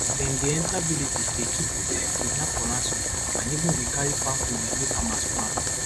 dem dey enter villages dey kill pipo kidnap for ransom and even dey carry farm produce wey farmers plant